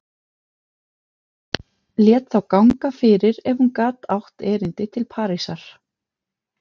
Lét þá ganga fyrir ef hún gat átt erindi til Parísar.